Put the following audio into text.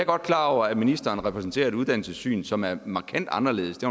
godt klar over at ministeren repræsenterer et uddannelsessyn som er markant anderledes det